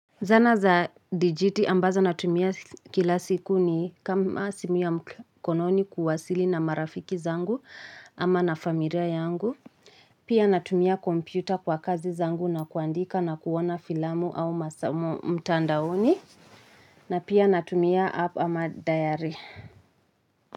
Zana za dijiti ambazo natumia kila siku ni kama simu ya mkononi kuwasili na marafiki zangu ama na familia yangu. Pia natumia kompyuta kwa kazi zangu na kuandika na kuoana filamu au masomo mtandaoni. Na pia natumia app ama diary.